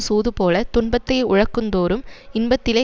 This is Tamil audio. சூதுபோலத் துன்பத்தை உழக்குந்தோறும் இன்பத்திலே